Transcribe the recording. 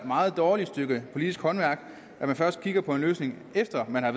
meget dårligt stykke politisk håndværk at man først kigger på en løsning efter at man har